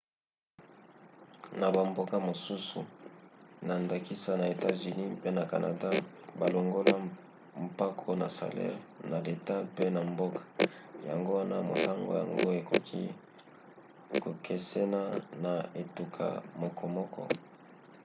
na bamboka mosusu na ndakisa na etats-unis mpe na canada balongolaka mpako na salere na leta pe na mboka yango wana motango yango ekoki kokesena na etuka mokomoko